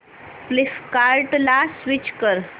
फ्लिपकार्टं ला स्विच कर